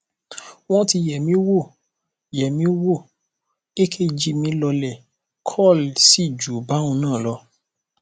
wọn ti yẹ mí wò yẹ mí wò ekg mi lọọlẹ kol sì ju báhun náà lọ